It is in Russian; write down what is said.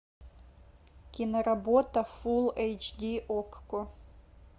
киноработа фул эйч ди окко